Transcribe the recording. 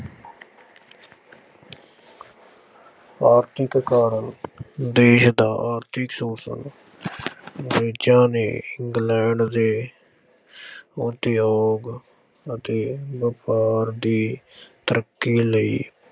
ਆਰਥਿਕ ਕਾਰਨ ਦੇਸ ਦਾ ਆਰਥਿਕ ਸ਼ੋਸ਼ਣ ਅੰਗਰੇਜ਼ਾਂ ਨੇ ਇੰਗਲੈਂਡ ਦੇ ਉਦਯੋਗ ਅਤੇ ਵਾਪਾਰ ਦੀ ਤਰੱਕੀ ਲਈ